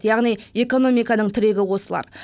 яғни экономиканың тірегі осылар